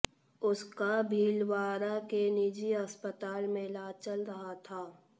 उसका भीलवाड़ा के निजी अस्पताल में इलाज चल रहा था